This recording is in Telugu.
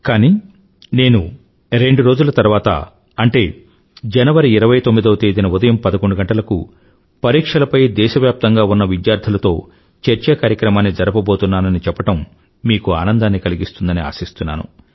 కానీ నేను రెండు రోజుల తర్వాత అంటే జనవరి29వ తేదీన ఉదయం 11 గంటలకు పరీక్షలపై దేశవ్యాప్తంగా ఉన్న విద్యార్థులతో చర్చా కార్యక్రమాన్ని జరపబోతున్నానని చెప్పడం మీకు ఆనందాన్ని కలిగింస్తుందని ఆశిస్తున్నాను